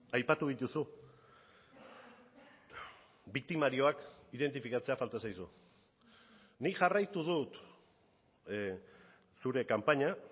aipatu dituzu biktimarioak identifikatzea falta zaizu nik jarraitu dut zure kanpaina